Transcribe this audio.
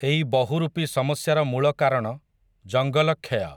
ଏଇ ବହୁରୂପୀ ସମସ୍ୟାର ମୂଳ କାରଣ, ଜଙ୍ଗଲ କ୍ଷୟ ।